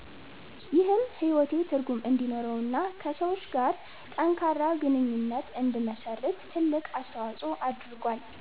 ይህም ሕይወቴ ትርጉም እንዲኖረውና ከሰዎች ጋር ጠንካራ ግንኙነት እንድመሰርት ትልቅ አስተዋጽኦ አድርጓል።